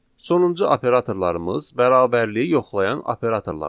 Sonuncu operatorlarımız bərabərliyi yoxlayan operatorlardır.